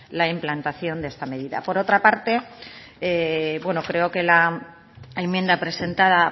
la implantación de esta medida por otra parte creo que la enmienda presentada